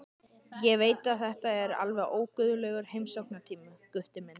Ég veit að þetta er alveg óguðlegur heimsóknartími, Gutti minn.